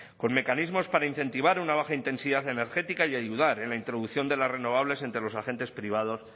con mecanismos para incentivar una baja intensidad energética y ayudar en la introducción de las renovables entre los agentes privados